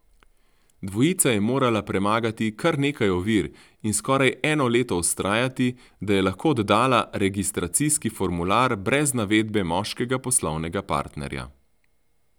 Dvojica je morala premagati kar nekaj ovir in skoraj eno leto vztrajati, da je lahko oddala registracijski formular brez navedbe moškega poslovnega partnerja.